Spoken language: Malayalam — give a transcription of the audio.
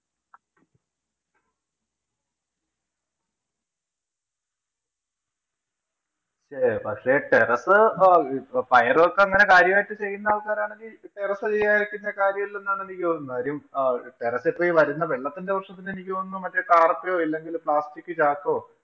പക്ഷേ terrace ആഹ് ഇപ്പ പയറുമൊക്കെ ഇങ്ങനെ കാര്യായിട്ട് ചെയ്യുന്ന ആള്‍ക്കാരാണെങ്കി terrace ചെയ്യാതിരിക്കുന്നതില്‍ കാര്യം ഇല്ലെന്നാണ് എനിക്ക് തോന്നുന്നത്. കാര്യം terrace ഇപ്പം വരുന്ന വെള്ളത്തിന്‍റെ പ്രശ്നത്തില്‍ എനിക്ക് തോന്നുന്നത് മറ്റേ tarppa യോ, ഇല്ലെങ്കില്‍ plastic ചാക്കോ,